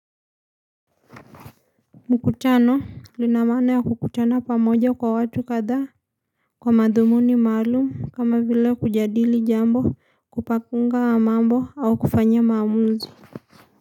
Mkutano lina maana ya kukutana pamoja kwa watu kadhaa Kwa madhumuni maalumu kama vile kujadili jambo kupakunga mambo au kufanya maamuzi.